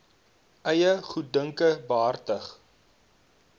eie goeddunke behartig